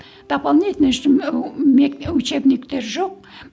дополнительный учебниктер жоқ